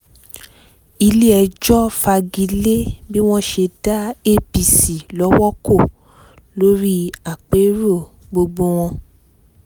ilé-ẹjọ́ fagi lé bí wọ́n ṣe dá apc lọ́wọ́ kò lórí àpérò gbọgbẹ́ọ̀ wọn